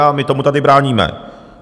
A my tomu tady bráníme.